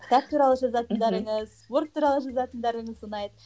кітап туралы жазатындарыңыз спорт туралы жазатындарыңыз ұнайды